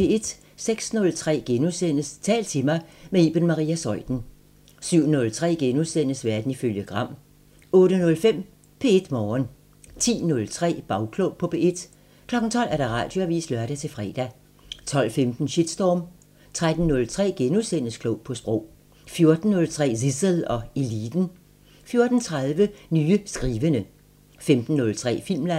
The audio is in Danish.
06:03: Tal til mig – med Iben Maria Zeuthen * 07:03: Verden ifølge Gram * 08:05: P1 Morgen 10:03: Bagklog på P1 12:00: Radioavisen (lør-fre) 12:15: Shitstorm 13:03: Klog på Sprog * 14:03: Zissel og Eliten 14:30: Nye skrivende 15:03: Filmland